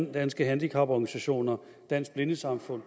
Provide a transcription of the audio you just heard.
danske handicaporganisationer dansk blindesamfund